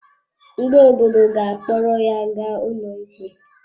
Ndị obodo ga-akpọrọ ya ga ụlọikpe.